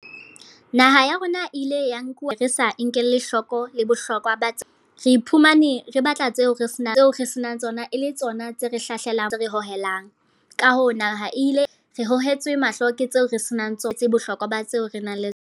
Naha ya rona ile ya nkuwa re sa nkelle hloko le bohlokwa ba tse. Re iphumane re batla tseo re senang tseo re senang tsona, e le tsona tse re hlelang re hohelang. Ka hoo, naha e ile re hohetswe mahlo ke tseo re senang tsona. Bohlokwa ba tseo re nang le tsona.